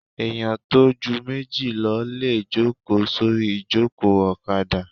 Èèyàn tó ju méjì lọ lè jòkó sórí ìjòkó ọ̀kadà